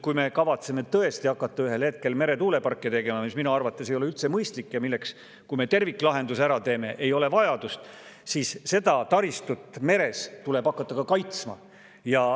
Kui me kavatseme tõesti hakata ühel hetkel meretuuleparke tegema – mis minu arvates ei ole üldse mõistlik ja milleks, kui me terviklahenduse ära teeme, ei ole vajadust –, siis seda taristut meres tuleb hakata ka kaitsma.